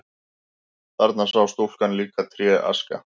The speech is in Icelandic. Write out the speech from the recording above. Þarna sá stúlkan líka tréaska.